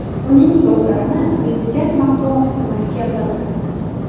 Uning so‘zlarini Prezident matbuot xizmati keltirdi .